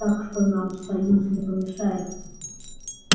так что нам союз не помешает